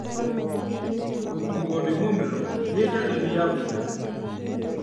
Gũturwo nĩ mũmero nĩ ndariri ya mũrimũ